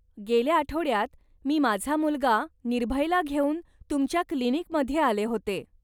गेल्या आठवड्यात मी माझा मुलगा निर्भयला घेऊन तुमच्या क्लीनिकमध्ये आले होते.